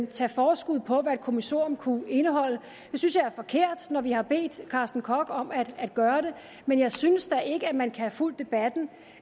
tage forskud på hvad et kommissorium kunne indeholde det synes jeg er forkert når vi har bedt carsten koch om at gøre det men jeg synes da ikke at man kan have fulgt debatten